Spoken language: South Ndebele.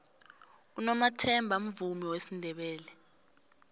unomathemba mvumi wesindebele